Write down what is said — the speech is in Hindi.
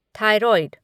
थाइरोइड